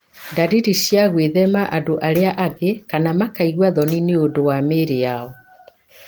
ndariri cia gwĩthema andũ arĩa angĩ, kana makaigua thoni nĩ ũndũ wa mĩĩrĩ yao.